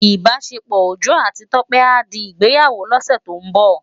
Ibásépò Ojo áti Tope á di Igbéyáwó lòsè tó n bò